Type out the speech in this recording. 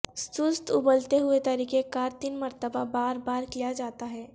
سست ابلتے ہوئے طریقہ کار تین مرتبہ بار بار کیا جاتا ہے